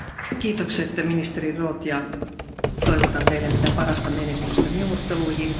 Kiitos, ministeri Roth, ja toivotan Teille mitä parasta menestystä neuvotteluihin.